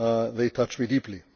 They touched me deeply.